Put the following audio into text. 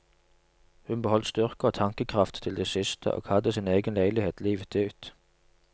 Hun beholdt styrke og tankekraft til det siste, og hadde sin egen leilighet livet ut.